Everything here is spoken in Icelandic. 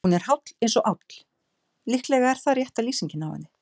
Hún er háll eins og áll, líklega er það rétta lýsingin á henni.